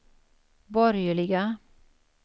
borgerliga